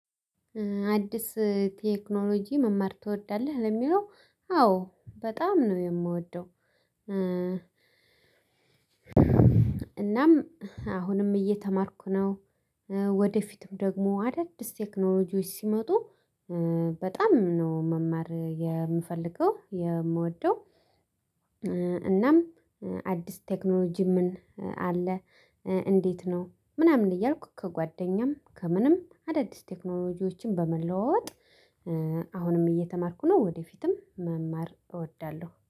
አዲስ ቴክኖሎጂ መማር ትወዳለህ ለሚለው አዎ በጣም ነው የምወደው እናም አሁንም እየተማርኩ ነ፤ ወደፊትም ደግሞ አዳዲስ ስቴክኖሎጂዎች ሲመጡ በጣም ነው መማር የምፈልገው የምወደው እናም አዲስ ቴክኖሎጂ ምን አለ እንዴት ነው ምናምን እያልኩ ከጓደኛም ከምንም አዳዲስ ቴክኖሎጂዎችን በመለዋወጥ አሁንም እየተማርኩ ነው ወደፊትም መማር እወዳለሁ።